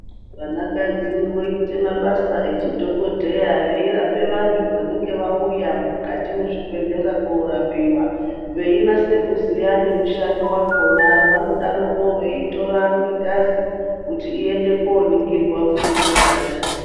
Vanakadzi voite mabasa echidhokodheya veirape vantu vanenge vauya mukati mwezvibhedhlera korapiwa, vainase kuziya nemushando wakhona. Vanodarokwo veitora ngengazi kuti iende koningirwa kuti chingaa chii.